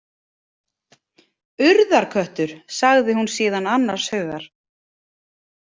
Urðarköttur, sagði hún síðan annars hugar.